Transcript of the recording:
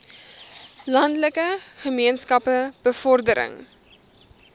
landelike gemeenskappe bevordering